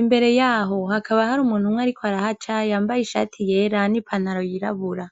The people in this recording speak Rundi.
imbere yaho hakaba hari umuntu umwe ariko arahaca yambaye ishati yera nipantaro yirabura